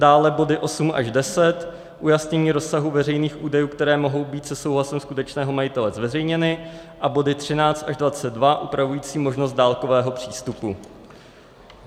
Dále body 8 až 10 - ujasnění rozsahu veřejných údajů, které mohou být se souhlasem skutečného majitele zveřejněny, a body 13 až 22 upravující možnost dálkového přístupu.